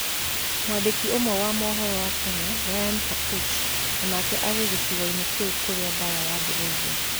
Mwandĩki ũmwe wa mohoro wa Kenya Ryan Kapuch o nake aarĩ gĩcigoinĩ kĩu kurĩa baraa yabĩrĩĩrie.